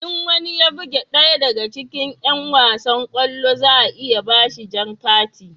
In wani ya buge ɗaya daga cikin yan wasan kwallo za a iya ba shi jan kati